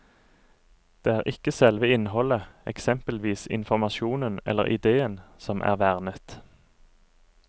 Det er ikke selve innholdet, eksempelvis informasjonen eller ideen, som er vernet.